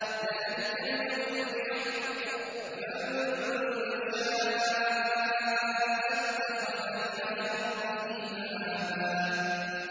ذَٰلِكَ الْيَوْمُ الْحَقُّ ۖ فَمَن شَاءَ اتَّخَذَ إِلَىٰ رَبِّهِ مَآبًا